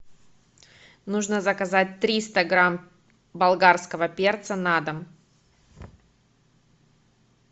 нужно заказать триста грамм болгарского перца на дом